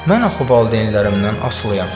Mən axı valideynlərimdən asılıyam.